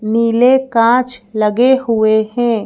नीले कांच लगे हुए हैं।